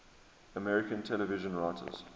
american television writers